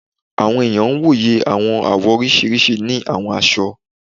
Àwọn ènìyàn wò yẹ àwọn àwọ̀ oríṣiríṣi ni àwọn aṣọ